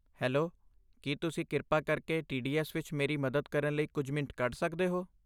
Hello, ਕੀ ਤੁਸੀਂ ਕਿਰਪਾ ਕਰਕੇ ਟੀਡੀਐਸ ਵਿੱਚ ਮੇਰੀ ਮਦਦ ਕਰਨ ਲਈ ਕੁਝ ਮਿੰਟ ਕੱਢ ਸਕਦੇ ਹੋ?